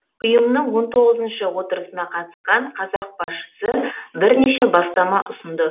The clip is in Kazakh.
ұйымның он тоғызыншы отырысына қатысқан қазақ басшысы бірнеше бастама ұсынды